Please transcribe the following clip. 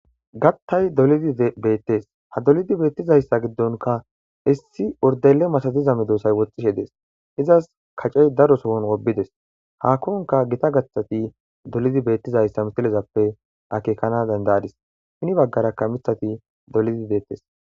Gattay dolidi beettes ha dolidi beettizayssa giddonka issi urdele masaziza medoosay woxxishe dees izas kacey daro sohon wobides hakkonka gita gaththati dolidi beettizayssa mitilezappe akekana dandaadis shini baggarakka mithati dolidi beettes.